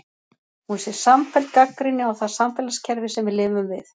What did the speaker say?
Hún sé samfelld gagnrýni á það samfélagskerfi sem við lifum við.